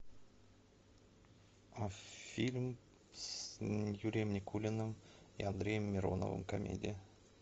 а фильм с юрием никулиным и андреем мироновым комедия